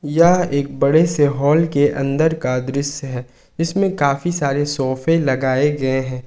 यह एक बड़े से हाल के अंदर का दृश्य है इसमें काफी सारे सोफे लगाए गए हैं।